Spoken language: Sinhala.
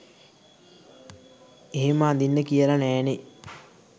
එහෙම අදින්න කියල නෑනේ